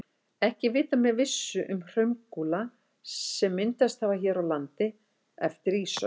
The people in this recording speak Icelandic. Ekki er vitað með vissu um hraungúla sem myndast hafa hér á landi eftir ísöld.